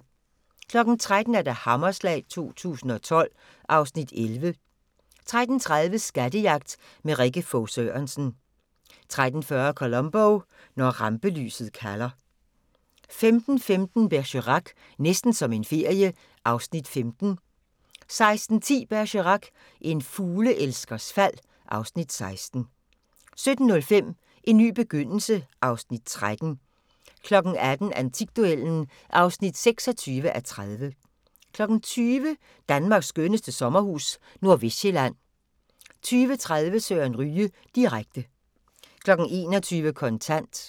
13:00: Hammerslag 2012 (Afs. 11) 13:30: Skattejagt med Rikke Fog Sørensen 13:40: Columbo: Når rampelyset kalder 15:15: Bergerac: Næsten som en ferie (Afs. 15) 16:10: Bergerac: En fugleelskers fald (Afs. 16) 17:05: En ny begyndelse (Afs. 13) 18:00: Antikduellen (26:30) 20:00: Danmarks skønneste sommerhus – Nordvestsjælland 20:30: Søren Ryge direkte 21:00: Kontant